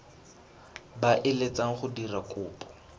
ba eletsang go dira kopo